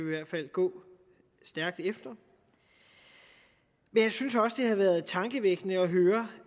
i hvert fald gå stærkt efter men jeg synes også det har været tankevækkende at høre